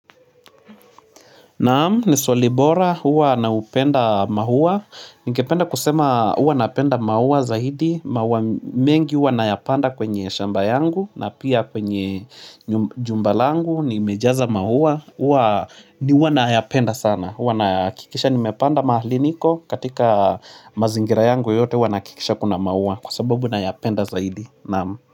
Naamu, ni Swali bora, uwa naupenda mahuwa. Ningependa kusema uwa napenda mahuwa zaidi. Mauwa mengi uwa nayapanda kwenye shamba yangu na pia kwenye jumba langu. Nimejaza mahuwa, uwa nayapenda sana. Uwa nakikisha nimepanda mahali niko katika mazingira yangu yote uwa nakikisha kuna mahuwa. Kwa sababu nayapenda zaidi. Naamu.